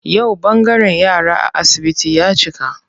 Yau ɓangaren yara a asibiti ya cika.